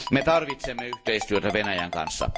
Me tarvitsemme yhteistyötä Venäjän kanssa.